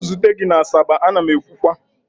ka m zute gi na asaba, a na m ekwukwa!